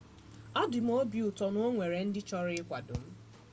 obị dị m ụtọ na o nwere ndị chọrọ ịkwado m